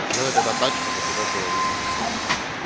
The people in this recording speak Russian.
делай так чтобы тебя было видно и все